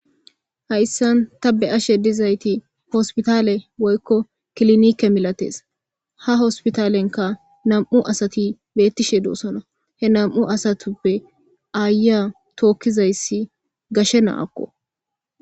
Hayssan ta be ashe dizayti hospitale woykko kilinike milatees ha hospitalenka nam7u asati beettishe doosona he nam7u asatuppe aaya tookkizayssi gashe naakko.